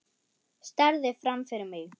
Starði fram fyrir mig.